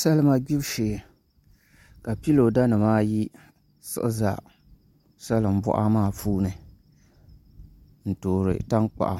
Salima gbibu shee ka kiloda nim ayi siɣi ʒɛ salin boɣa maa puuni n toori tankpaɣu